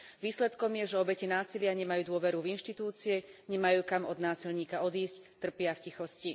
Výsledkom je, že obete násilia nemajú dôveru v inštitúcie, nemajú kam od násilníka odísť, trpia v tichosti.